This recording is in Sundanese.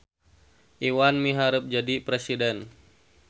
Iwan miharep jadi presiden